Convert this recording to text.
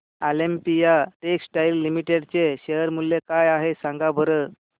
Olympia textiles limited चे share मूल्य काय आहे सांगा बरं